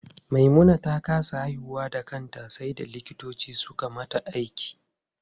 Maimuna ta kasa haihuwa da kanta sai da likitoci suka mata aiki.